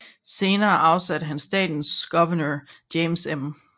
Senere afsatte han statens guvernør James M